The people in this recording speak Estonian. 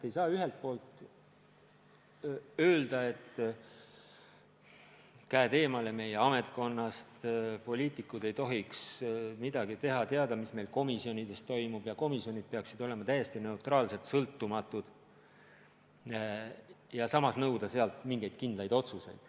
Ei saa ühelt poolt öelda, et käed eemale meie ametkonnast, poliitikud ei tohi midagi teha, ei tohi teada, mis meil komisjonides toimub, ja komisjonid peavad olema täiesti neutraalselt sõltumatud, ja samas nõuda sealt mingeid kindlaid otsuseid.